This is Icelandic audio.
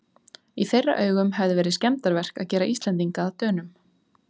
Í þeirra augum hefði verið skemmdarverk að gera Íslendinga að Dönum.